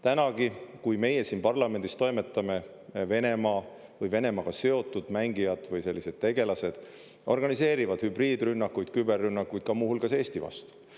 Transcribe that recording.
Tänagi, kui meie siin parlamendis toimetame, Venemaa või Venemaaga seotud mängijad või sellised tegelased organiseerivad hübriidrünnakuid, küberrünnakuid, ka muu hulgas Eesti vastu.